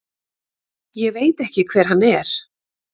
Ég veit ekki hver hann er.